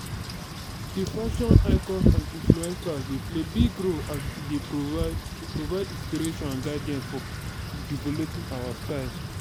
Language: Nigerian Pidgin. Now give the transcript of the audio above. di fashion icons and influencers dey play big role as e dey provide provide inspiration and guidance for developing our style.